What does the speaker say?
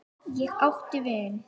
Ég átti vin.